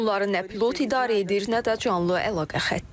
Onları nə pilot idarə edir, nə də canlı əlaqə xətti.